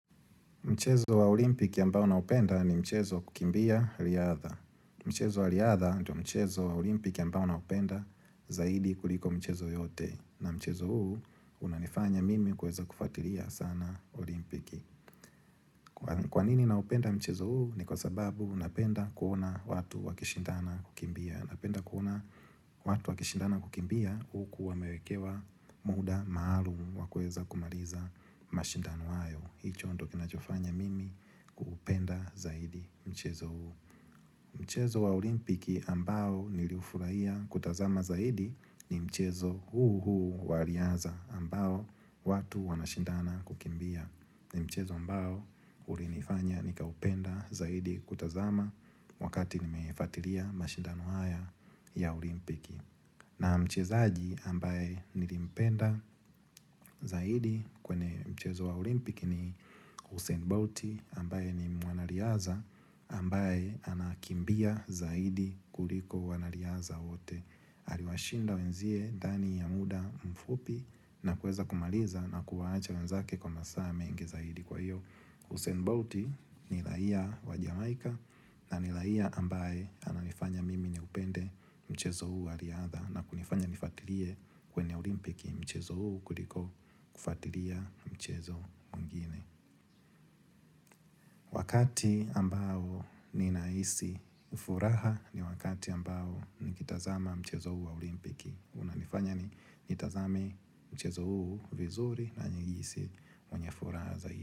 Mchezo wa olimpiki ambao na upenda ni mchezo kukimbia riadha. Mchezo wa riadha ndo mchezo wa olimpiki ambao na upenda zaidi kuliko michezo yote. Na mchezo huu unanifanya mimi kuweza kufuatiria sana olimpiki. Kwanini na upenda mchezo huu ni kwa sababu napenda kuona watu wakishindana kukimbia. Napenda kuona watu wakishindana kukimbia ukuwamewekewa muda maalumu wakuweza kumaliza mashindano hayo. Hicho ndo kinachofanya mimi kuupenda zaidi mchezo huu Mchezo wa olimpiki ambao niliufurahia kutazama zaidi ni mchezo huu huu wariaza ambao watu wanashindana kukimbia ni mchezo ambao ulinifanya nikaupenda zaidi kutazama wakati nimefatiria mashindano haya ya olimpiki na mchezaaji ambaye nilipenda zaidi kwenye mchezo wa olimpiki ni Usain Bolti ambaye ni muanariaza ambaye anakimbia zaidi kuliko wanariaza wote. Haliwashinda wenzie dani ya muda mfupi na kueza kumaliza na kuwaacha wenzake kwa masaa mengi zaidi. Kwa hiyo, Hussein Bolti ni raia wa Jamaica na ni raia ambaye ananifanya mimi ni upende mchezo huu wa riadha na kunifanya nifatirie kwenye olimpiki mchezo huu kuliko kufatiria mchezo mwingine Wakati ambao ninaisi furaha ni wakati ambao nikitazama mchezo huu wa olimpiki unanifanya nitazame mchezo huu vizuri na nihisi mwenye furaha za hiyo.